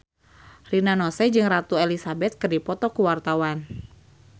Rina Nose jeung Ratu Elizabeth keur dipoto ku wartawan